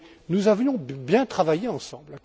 Nous avions bien travaillé ensemble.